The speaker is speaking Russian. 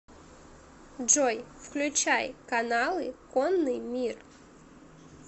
джой включай каналы конный мир